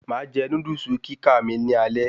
Máa jẹ Núdúsì kíká mi ni alẹ́